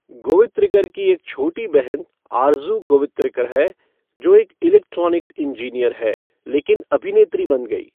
गोवित्रिकर की एक छोटी बहन, आरज़ू गोवित्रिकर है, जो एक इलेक्ट्रॉनिक्स इंजीनियर है लेकिन अभिनेत्री बन गई।